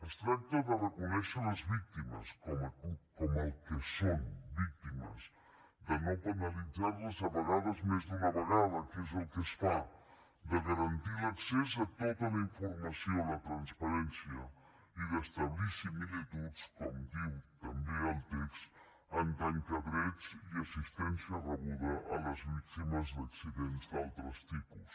es tracta de reconèixer les víctimes com el que són víctimes de no penalitzar les a vegades més d’una vegada que és el que es fa de garantir l’accés a tota la informació la transparència i d’establir similituds com diu també el text en tant que a drets i assistència rebuda amb les víctimes d’accidents d’altres tipus